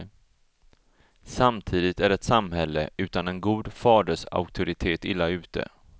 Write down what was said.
Samtidigt är ett samhälle utan en god fadersauktoritet illa ute.